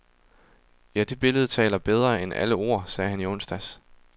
Ja, det billede taler bedre end alle ord, sagde han i onsdags.